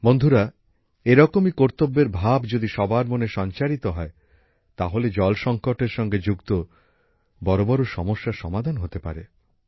বন্ধুরা এ রকমই কর্তব্যের ভাব যদি সবার মনে সঞ্চারিত হয় তাহলে জল সংকটের সঙ্গে যুক্ত বড় বড় সমস্যার সমাধান হতে পারে